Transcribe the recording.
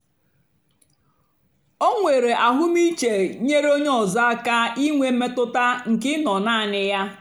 o nwèrè àhụ́mị̀chè nyèrè ònyè ọ́zọ́ àka ìnwé mmètụ́tà nkè ị̀ nọ́ naanì ya.